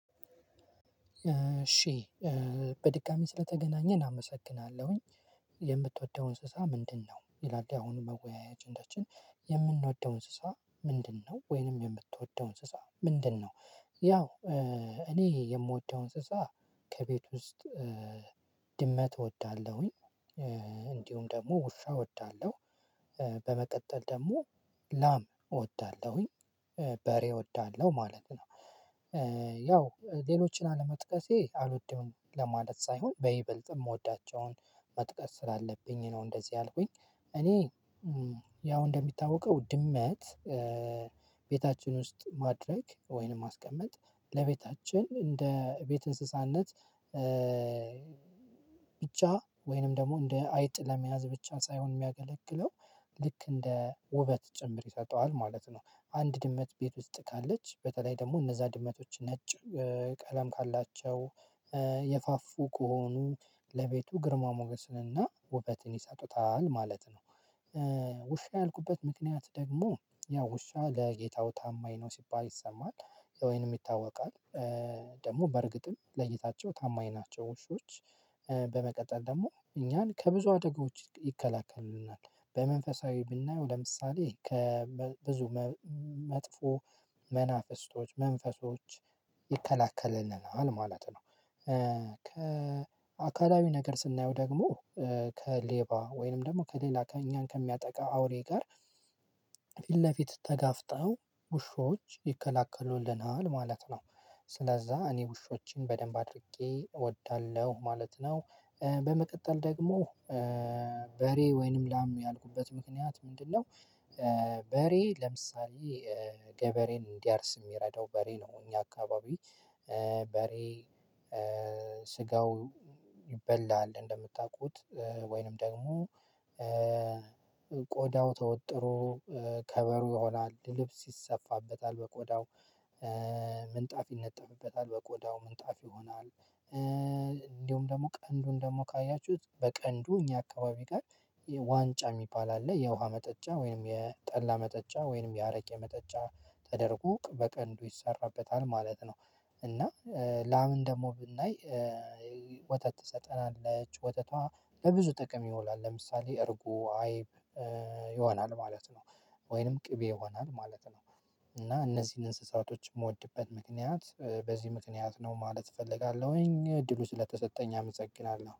እሺ በድጋሜ ስለተገናኘን አመሰግናለሁኝ የምትወደው እንስሳ ምንድነው ይላል የአሁን መወያያ አጀንዳችን የምንወደው እንስሳ ምንድነው ወይንም የምትወደው እንስሳ ምንድነው? ያው እኔ የምወደው እንስሳ ከቤት ውስጥ ድመት እወዳለሁኝ። እንዲሁም ደግሞ ውሻ እወዳለሁ። በመቀጠል ደግሞ ላም እወዳለሁኝ በሬ እወዳለሁ ማለት ነው። ያው ሌሎችን አለመጥቀሴ አልወደውም ለማለት ሳይሆን በይበልጥ የምወዳቸውን መጥቀስ ስላለብኝ ነው እንደዚህ አልኩኝ። እኔ ያው እንደሚታወቀው ድመት ቤታችን ውስጥ ማድረግ ወይንም ማስቀመጥ ለቤታችን እንደ ቤት እንስሳነት ብቻ ወይንም ደግሞ እንደ አይጥ ለመያዝ ብቻ ሳይሆን የሚያገለግለው ልክ እንደ ውበት ጭምር ይሰጠዋል ማለት ነው። አንድ ድመት ቤት ውስጥ ካለች በተለይ ደግሞ እነዛ ድመቶች ነጭ ቀለም ካላቸው የፋፉ ከሆኑ ለቤቱ ግርማ ሞገስንና ውበትን ይሰጡታል ማለት ነው። ውሻ ያልኩበት ምክንያት ደግሞ ያው ውሻ ለጌታው ታማኝ ነው ሲባል ይሰማል ወይም ይታወቃል ደግሞ በእርግጥም ለጌታቸው ታማኝ ናቸው ውሾች። በመቀጠል ደግሞ እኛን ከብዙ አደጎች ይከላከሉናል በመንፈሳዊ ብናየው ለምሳሌ ከብዙ መጥፎ መናፍስቶች መንፈሶች ይከላከልልናል ማለት ነው። ከአካላዊ ነገር ስናየው ደግሞ ከሌባ ወይንም ደግሞ ከሌላ ከእኛን ከሚያጠቃ አውሬ ጋር ፊት ለፊት ተጋፍጠው ውሾች ይከለክሉልናል ማለት ነው። ስለዛ እኔ ውሾችን በደንብ አድርጌ እወዳለሁ ማለት ነው። በመቀጠል ደግሞ በሬ ወይንም ላም ያልኩበት ምክንያት ምንድነው? በሬ ለምሳሌ ገበሬን እንዲያርስ የሚረዳው በሬ ነው። እኛ አካባቢ በሬ ስጋው ይበላል እንደምታውቁት ወይንም ደግሞ ቆዳው ተወጥሮ ከበሮ ይሆናል ልብስ ይሰፋበታል በቆዳው ምንጣፍ ይነጠፍበታል በቆዳው ምንጣፍ ይሆናል። እንደውም ደግሞ ቀንዱን ደግሞ ካያችሁት በቀንዱ እኛ አካባቢ ጋር ዋንጫ የሚባል አለ የውሃ መጠጫ ወይንም የጠላ መጠጫ ወይንም ያረቄ የመጠጫ ተደርጎ በቀንዱ ይሰራበታል ማለት ነው። እና ላምን ደግሞ ብናይ ወተት ትሰጠናለች ወተቷ ለብዙ ጥቅም ይውላል ለምሳሌ እርጎ አይብ ይሆናል ማለት ነው። ወይንም ቅቤ ይሆናል ማለት ነው። እና እነዚህን እንስሳቶች የምወድበት ምክንያት በዚህ ምክንያት ነው ማለት እፈልጋለሁኝ እድሉ ስለተሰጠኝ አመሰግናለሁ